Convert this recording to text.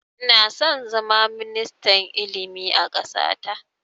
Ina son zama ministan ilimi a ƙasa ta